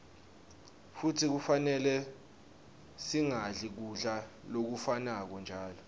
futsi kufanele singadli kudla lokufanako njalo